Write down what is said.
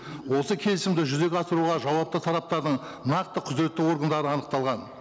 осы келісімді жүзеге асыруға жауапты тараптардың нақты құзыретті органдары анықталған